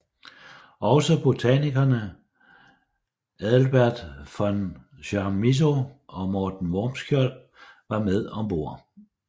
Også botanikerne Adelbert von Chamisso og Morten Wormskjold var med om bord